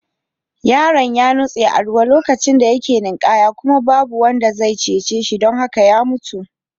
Yaron ya nutse a ruwa lokacin da yake ninkaya kuma babu wanda zai cece shi don haka ya mutu.